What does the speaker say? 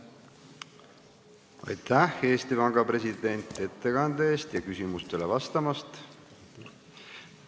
Aitäh, Eesti Panga president, ettekande eest ja küsimustele vastamast!